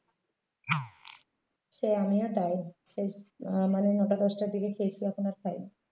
এই আমিও তাই সেই মানে নয়টা দশটার দিকে খেয়েছি এখন আর খাই নি।